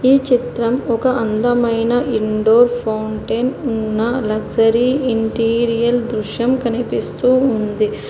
ఈ చిత్రం ఒక అందమైన ఇండోర్ ఫౌంటెన్ ఉన్న లగ్జరీ ఇంటీరియల్ దృశ్యం కనిపిస్తూ ఉంది.